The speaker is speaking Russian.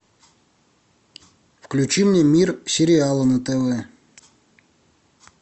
включи мне мир сериала на тв